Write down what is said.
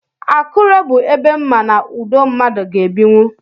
Akure bụ ebe mma na ụdọ mmadụ ga-ebinwú.